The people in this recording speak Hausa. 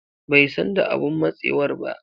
Bai san da abun matsewar ba.